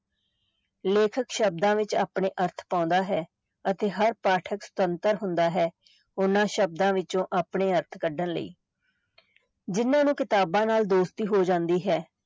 ਲੇਖਕ ਸ਼ਬਦਾਂ ਵਿੱਚ ਆਪਣੇ ਅਰਥ ਪਾਉਂਦਾ ਹੈ ਅਤੇ ਹਰ ਪਾਠਕ ਸੁਤੰਤਰ ਹੁੰਦਾ ਹੈ, ਉਹਨਾਂ ਸ਼ਬਦਾਂ ਵਿੱਚੋਂ ਆਪਣੇ ਅਰਥ ਕੱਢਣ ਲਈ ਜਿਹਨਾਂ ਨੂੰ ਕਿਤਾਬਾਂ ਨਾਲ ਦੋਸਤੀ ਹੋ ਜਾਂਦੀ ਹੈ,